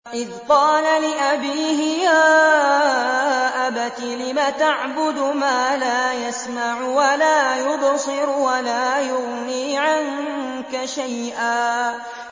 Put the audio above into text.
إِذْ قَالَ لِأَبِيهِ يَا أَبَتِ لِمَ تَعْبُدُ مَا لَا يَسْمَعُ وَلَا يُبْصِرُ وَلَا يُغْنِي عَنكَ شَيْئًا